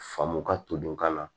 Faamu ka to don ka na